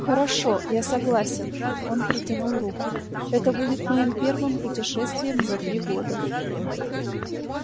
хорошо я согласен он протянул руку это будет моим первым путешествием за три года